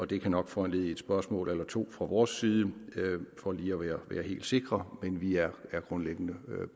det kan nok foranledige et spørgsmål eller to fra vores side for lige at være helt sikre men vi er grundlæggende